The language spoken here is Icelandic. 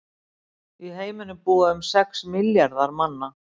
Í heiminum búa um sex milljarðar manna.